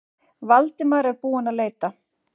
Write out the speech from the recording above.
Valdimar er búinn að leita.